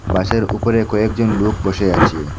বাসের উপরে কয়েকজন লোক বসে আচে।